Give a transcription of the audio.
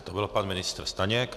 To byl pan ministr Staněk.